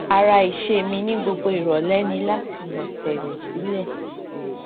ara ìṣe mi ní gbogbo ìrọlẹ ni láti nà tẹẹrẹ sílẹ